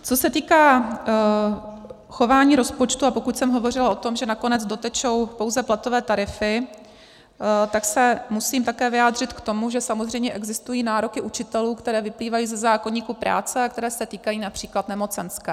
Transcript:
Co se týká chování rozpočtu - a pokud jsem hovořila o tom, že nakonec dotečou pouze platové tarify, tak se musím také vyjádřit k tomu, že samozřejmě existují nároky učitelů, které vyplývají ze zákoníku práce a které se týkají například nemocenské.